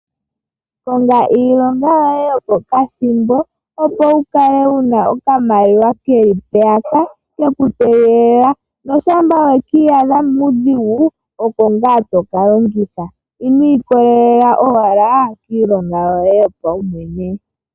Konga iilongo yoye yopokathimbo , opo wukale wuna okamaliwa keli mpeyaka, keku tegelela noshampa wekiyadha muudhigu oko ngaa toka longitha, inwii kolelela owala kiilonga yoye yopa wumwene.